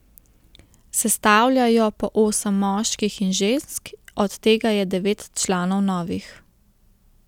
Sestavlja jo po osem moških in žensk, od tega je devet članov novih.